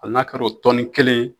Hali n'a kɛra o tɔni kelen ye.